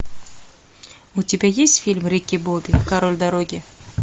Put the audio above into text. у тебя есть фильм рики бобби король дороги